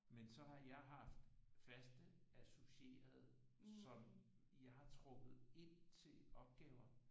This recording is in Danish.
Men så har jeg haft faste associerede som jeg har trukket ind til opgaver